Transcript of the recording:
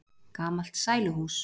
Gamalt sæluhús.